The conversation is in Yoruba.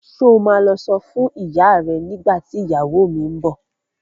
Ṣo ma lọ sọ fún ìyá ẹ nígbà tí ìyàwó mi ń bọ̀?